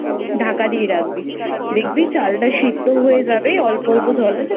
ঢাকা দিয়ে রাখবি দেখবি চালটা সেদ্ধ হয়ে যাবে অল্প অল্প জল আছে